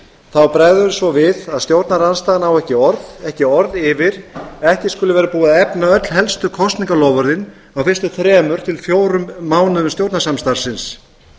þá bregður svo við að stjórnarandstaðan á ekki orð ekki orð yfir að ekki skuli vera búið að efna öll helstu kosningaloforðin á fyrstu þremur til fjórum mánuðum stjórnarsamstarfsins